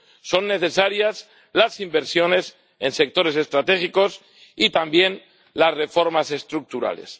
Son necesarias las inversiones en sectores estratégicos, y también las reformas estructurales.